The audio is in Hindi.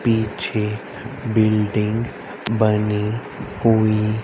पीछे बिल्डिंग बनी हुई--